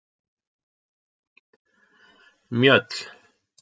Mjöll